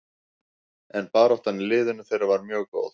En baráttan í liðinu þeirra var mjög góð.